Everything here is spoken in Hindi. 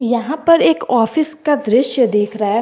यहां पर एक ऑफिस का दृश्य दिख रहा है।